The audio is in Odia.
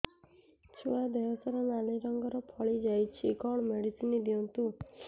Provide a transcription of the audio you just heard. ଛୁଆ ଦେହ ସାରା ନାଲି ରଙ୍ଗର ଫଳି ଯାଇଛି କଣ ମେଡିସିନ ଦିଅନ୍ତୁ